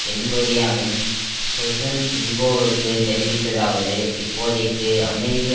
தென் கொரியாவின் சொசுன் இல்போவுக்கு தெரிவித்ததாவது இப்போதைக்கு அமெரிக்க